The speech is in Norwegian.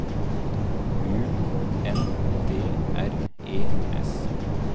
U N D R E S